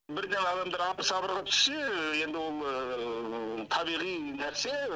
бірден адамдар абыр сабырға түссе енді ол табиғи нәрсе